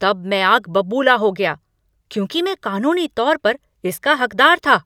तब मैं आग बबूला हो गया, क्योंकि मैं कानूनी तौर पर इसका हकदार था!